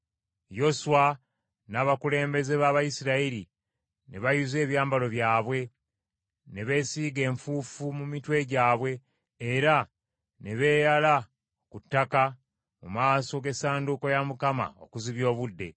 Yoswa n’abakulembeze b’Abayisirayiri ne bayuza ebyambalo byabwe ne beesiiga enfuufu mu mitwe gyabwe era ne beeyala ku ttaka mu maaso g’Essanduuko ya Mukama okuzibya obudde.